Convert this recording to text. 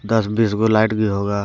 दस बीस go light भी होगा।